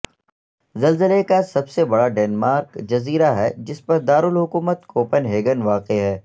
زلزلے کا سب سے بڑا ڈنمارک جزیرہ ہے جس پر دارالحکومت کوپن ہیگن واقع ہے